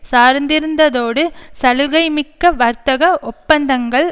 சார்ந்திருந்ததோடு சலுகைமிக்க வர்த்தக ஒப்பந்தங்கள்